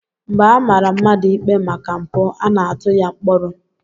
Mgbe a mara mmadụ ikpe maka mpụ, a na-atụ ya mkpọrọ